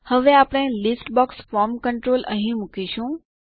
હવે આપણે list box form control અહીં મુકીશું